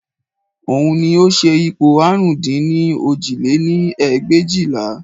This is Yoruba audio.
Òun ni ó ṣe ipò àrún dín ní òjì lé-ní ẹgbẹ̀éjìlá